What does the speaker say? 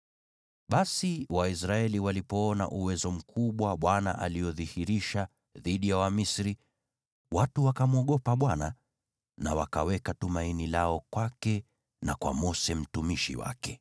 Basi Waisraeli walipoona uwezo mkubwa Bwana aliodhihirisha dhidi ya Wamisri, watu wakamwogopa Bwana na wakaweka tumaini lao kwake na kwa Mose mtumishi wake.